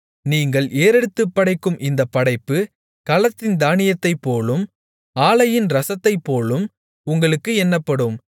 நீங்கள் ஏறெடுத்துப் படைக்கும் இந்தப் படைப்பு களத்தின் தானியத்தைப்போலும் ஆலையின் இரசத்தைப்போலும் உங்களுக்கு எண்ணப்படும்